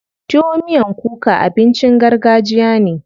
Tuwo miyan kuka abincin gargajiya ne.